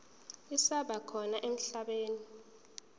zisaba khona emhlabeni